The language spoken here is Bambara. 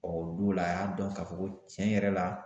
Ɔ o don la a y'a dɔn k'a fɔ ko cɛn yɛrɛ la